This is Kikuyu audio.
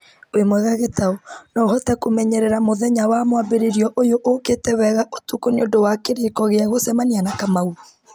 wĩ mwega gĩtaũ no ũhote kũmenyerera mũthenya wa mwambĩrĩrio ũyũ ũũkĩte wega ũtukũ nĩũndũ wa kĩrĩko gĩa gũcemania na kamau